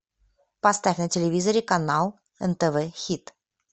поставь на телевизоре канал нтв хит